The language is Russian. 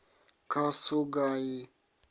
касугаи